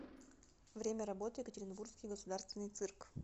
время работы екатеринбургский государственный цирк